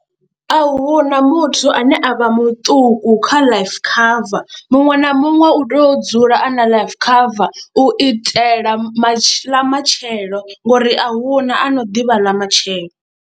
A hu na muthu ane a vha muṱuku kha life cover muṅwe na muṅwe u tea u dzula a na life cover u itela matshelo ḽa matshelo ngori a hu na ano ḓivha ḽa matshelo.